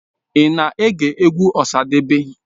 Ị na-ege egwu Osadebe?